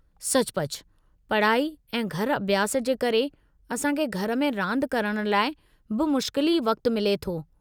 सचुपचु, पढ़ाई ऐं घर-अभ्यासु जे करे, असां खे घर में रांदि करणु लाइ बमुश्किल ई वक़्तु मिले थो।